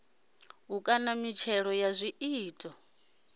u kaṋa mitshelo ya zwiito